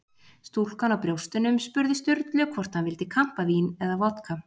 Stúlkan á brjóstunum spurði Sturlu hvort hann vildi kampavín eða vodka.